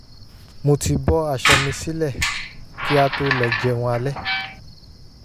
mo ti bọ́ aṣọ mi sílẹ̀ kí a tó lọ jẹun alẹ́